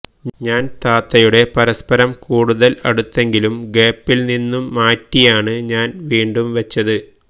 ഞാന് താത്തയുടെ പരപ്സരം കൂടുതല് അടുത്തെങ്കിലും ഗാപ്പില് നിന്നും മാറ്റിയാണ് ഞാന് വീണ്ടും വെച്ചത്